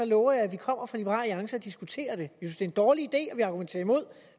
lover jeg at vi kommer fra liberal alliance og diskuterer det er en dårlig